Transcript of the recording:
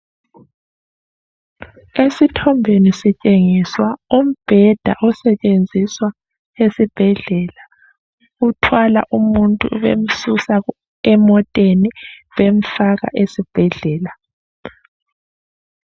Esithombeni sitshengiswa umbheda osetshenziswa esibhedlela bemthwala umuntu bemsusa emoteni bemfaka esibhedlela